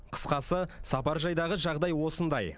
қысқасы сапаржайдағы жағдай осындай